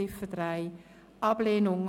Bei Ziffer 3 empfiehlt sie Ablehnung.